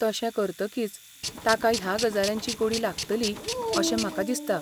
तशें करतकीच, ताका ह्या गजालींची गोडी लागतली अशें म्हाका दिसता.